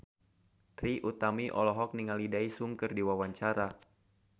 Trie Utami olohok ningali Daesung keur diwawancara